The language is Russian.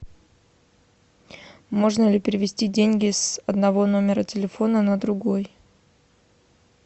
можно ли перевести деньги с одного номера телефона на другой